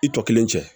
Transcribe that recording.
I tɔ kelen cɛ